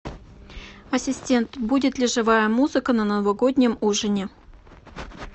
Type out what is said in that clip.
ассистент будет ли живая музыка на новогоднем ужине